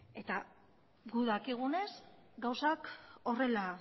eta gu dakigunez gauzak